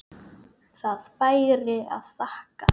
Það bæri að þakka.